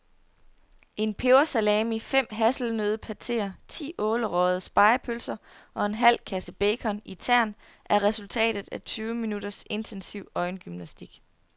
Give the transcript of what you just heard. En pebersalami, fem hasselnøddepateer, ti ålerøgede spegepølser og en halv kasse bacon i tern er resultatet af tyve minutters intensiv øjengymnastik.